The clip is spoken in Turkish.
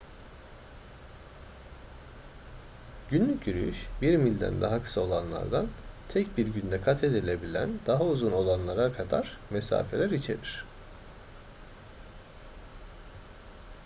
günlük yürüyüş bir milden daha kısa olanlardan tek bir günde kat edilebilen daha uzun olanlara kadar mesafeler içerir